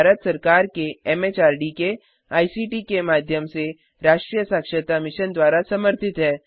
यह भारत सरकार एमएचआरडी के आईसीटी के माध्यम से राष्ट्रीय साक्षरता मिशन द्वारा समर्थित है